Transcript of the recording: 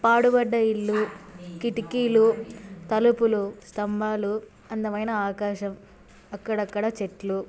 పాడుబడ్డ ఇల్లు కిటికీలు తలుపులు స్తంభాలు అందమైన ఆకాశం అక్కడక్కడా చెట్లు--